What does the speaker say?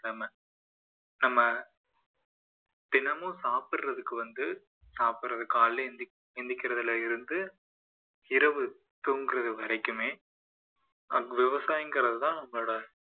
நம்ம நம்ம தினமும் சாப்பிடதற்கு வந்து சாப்பிடுவது காலையில எந்தி~ எழுந்திருக்கிறதுல இருந்து இரவு தூங்குறது வரைக்குமே விவசாயங்கறது தான் நம்ம